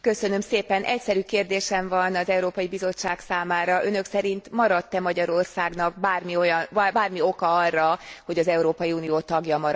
Egyszerű kérdésem van az Európai Bizottság számára Önök szerint maradt e Magyarországnak bármi oka arra, hogy az Európai Unió tagja maradjon?